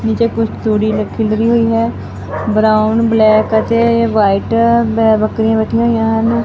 ਨੀਚੇ ਕੁਝ ਤੂੜੀ ਲ ਖਿਲਰੀ ਹੋਈ ਹੈ। ਬਰਾਊਨ ਬਲੈਕ ਅਤੇ ਵਾਈਟ ਮੈਂ ਬੱਕਰੀਆਂ ਬੈਠੀਆਂ ਹੋਈਆਂ ਹਨ।